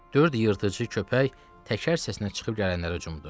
Dörd yırtıcı köpək təkər səsinə çıxıb gələnlərə hücumdu.